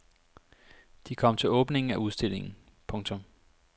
De kom til åbningen af udstillingen. punktum